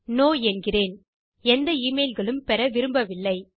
no என்கிறேன் எந்த email களும் பெற விரும்பவில்லை